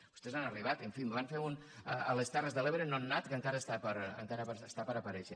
vostès han arribat en fi en van fer un a les terres de l’ebre nonat que encara està per aparèixer